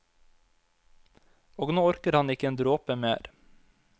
Og nå orker han ikke en dråpe mer.